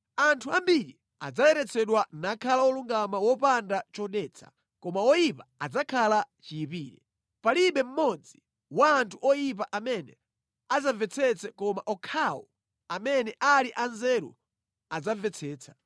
Anthu ambiri adzayeretsedwa nakhala olungama wopanda chodetsa, koma oyipa adzakhala chiyipire. Palibe mmodzi wa anthu oyipa amene adzamvetsetsa koma okhawo amene ali anzeru adzamvetsetsa.